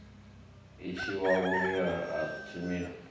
i tshinwa vhuriha na tshilimo